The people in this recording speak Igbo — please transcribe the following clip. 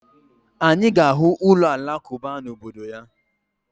Anyị ga-ahụ ụlọ Alakụba na obodo ya